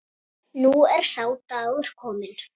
Nú er sá dagur kominn.